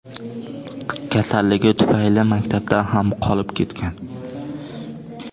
Kasalligi tufayli maktabdan ham qolib ketgan.